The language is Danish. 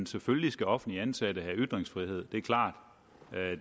selvfølgelig skal offentligt ansatte have ytringsfrihed det er klart